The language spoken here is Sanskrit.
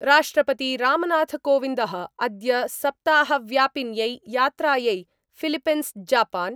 राष्ट्रपति रामनाथकोविन्दः अद्य सप्ताहव्यापिन्यै यात्रायै फिलिपिंसजापान